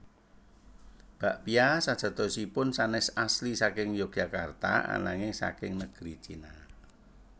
Bakpia sajatosipun sanés asli saking Yogyakarta ananging saking negeri China